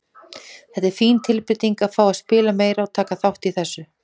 Það er fín tilbreyting að fá að spila meira og taka þátt í þessu.